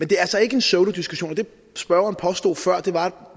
det er altså ikke en pseudodiskussion det spørgeren påstod før var at